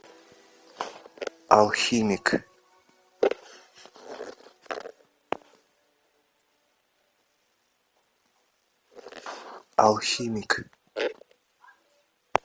алхимик алхимик